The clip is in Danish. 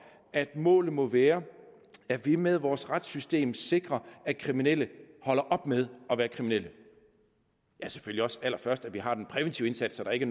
at målet må være at vi med vores retssystem sikrer at kriminelle holder op med at være kriminelle ja selvfølgelig også og allerførst at vi har den præventive indsats så der ikke